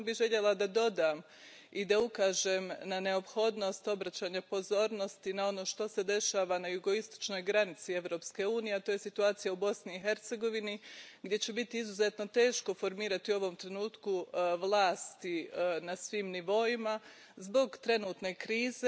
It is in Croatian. Samo bih željela da dodam i da ukažem na neophodnost obraćanja pozornosti na ono što se dešava na jugoistočnoj granici Europske unije, a to je situacija u Bosni i Hercegovini, gdje će biti izuzetno teško formirati u ovom trenutku vlast na svim nivoima zbog trenutne krize.